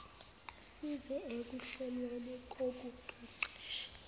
assize ekuhlelweni kokuqeqesha